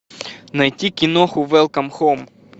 найти киноху велком хоум